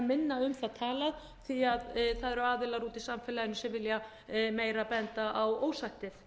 minna um það talað því það eru aðilar úti í samfélaginu sem vilja meira benda á ósættið